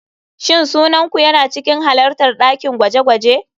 Shin sunan ku yana cikin halartar dakin gwaje-gwaje?